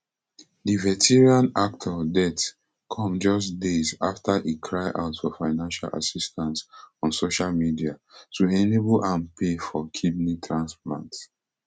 di veteran actor death come just days afta e cry out for financial assistance on social media to enable am pay for kidney transplant